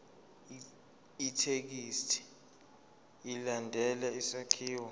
ithekisthi ilandele isakhiwo